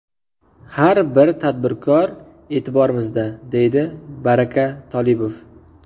Har bir tadbirkor e’tiborimizda, - deydi Baraka Tolibov.